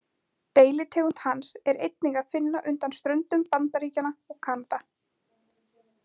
Deilitegund hans er einnig að finna undan ströndum Bandaríkjanna og Kanada.